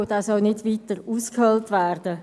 dieser soll nicht weiter ausgehöhlt werden.